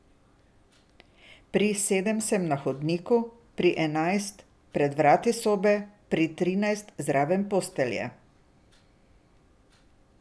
Pri sedem sem na hodniku, pri enajst pred vrati sobe, pri trinajst zraven postelje.